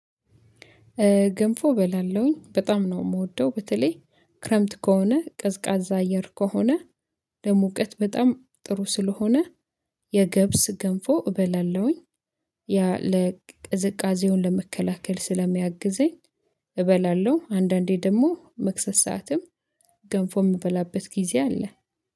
ገንፎ እበላለሁኝ በጣም ነው የምወደው በተለይ ክረምት ከሆነ ቀዝቃዛ አየር ከሆነ ለሙቀት በጣም ጥሩ ስለሆነ የገብስ ገንፎ እበላለሁኝ። ያ ለቅዝቃዜውን ለመከላከል ስለሚያግዘኝ። እበላለሁ አንዳንዴ ደግሞ መክሰስ ሰዓትም ገንፎ የምበላበት ጊዜ አለ።